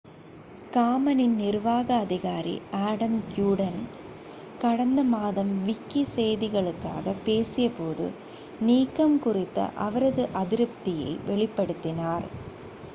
காமனின் நிர்வாக அதிகாரி Adam Cuerden கடந்த மாதம் விக்கி செய்திகளுக்காக பேசிய போது நீக்கம் குறித்த அவரது அதிருப்தியை வெளிப்படுத்தினார்